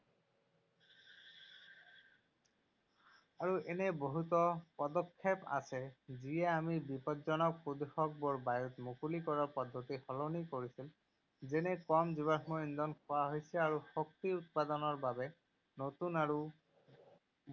আৰু এনে বহুতো পদক্ষেপ আছে যিয়ে আমি বিপদজনক প্ৰদূষকবোৰ বায়ুত মুকলি কৰাৰ পদ্ধতি সলনি কৰিছিল যেনে কম জীৱাশ্ম ইন্ধন খোৱা হৈছে আৰু শক্তি উৎপাদনৰ বাবে নতুন আৰু